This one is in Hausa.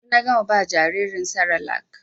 Yanzu na gama ba jaririn serelak